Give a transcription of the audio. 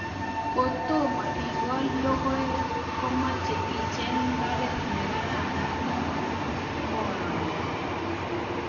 Kotomo ikol logoekmache icheng mbaret ne karan nemo moroni